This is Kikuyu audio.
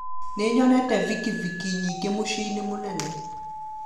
Nĩnyonire bikibiki nyingĩ mũciĩ-inĩ mũnene